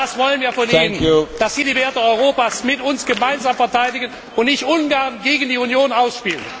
Wir wollen von Ihnen, dass Sie die Werte Europas mit uns gemeinsam verteidigen und nicht Ungarn gegen die Union ausspielen!